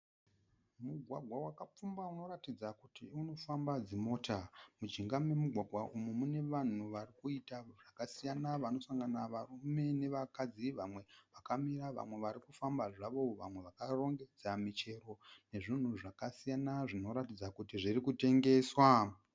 Mugwagwa wakapfumba unoratidza kuti unofamba dzimota. Mujinga memugwagwa umu mune vanhu varikuita zvakasiyana vanosangana varume nevakadzi vamwe vakamira vamwe varikufamba zvavo, vamwe vakarongedza michero nezvinhu zvakasiyana zvinoratidza kuti zviri kutengeswa.